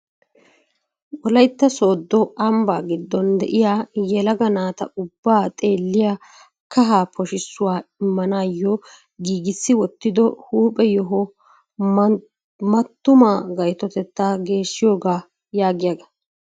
Wolaytta Sooddo Ambba giddon de'iyaa yelaga naata ubbaa xeelliyaa kahaa poshshisuwa immanayyo giiggisi wottido huuphe yoho "mattuma gayttotetta geeshshiyooga" yaagiyaaga.